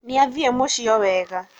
Nĩathiĩ mũciĩ o wega